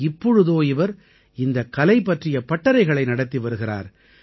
இப்போதோ இவர் இந்தக் கலை பற்றிய பட்டறைகளை நடத்தி வருகிறார்